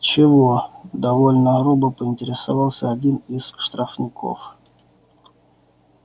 чего довольно грубо поинтересовался один из штрафников